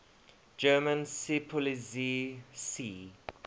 german seepolizei sea